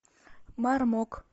мармок